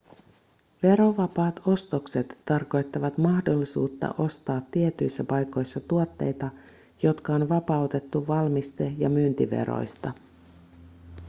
verovapaat ostokset tarkoittavat mahdollisuutta ostaa tietyissä paikoissa tuotteita jotka on vapautettu valmiste- ja myyntiveroista